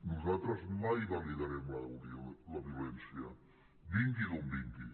nosaltres mai validarem la violència vingui d’on vingui